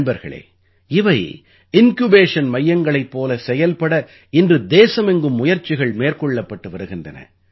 நண்பர்களே இவை இன்க்யூபேஷன் மையங்களைப் போலச் செயல்பட இன்று தேசமெங்கும் முயற்சிகள் மேற்கொள்ளப்பட்டு வருகின்றன